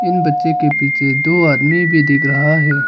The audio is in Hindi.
इन बच्चों के पीछे दो आदमी भी दिख रहा है।